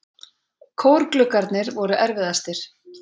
Kórgluggarnir voru erfiðastir.